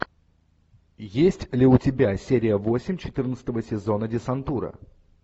есть ли у тебя серия восемь четырнадцатого сезона десантура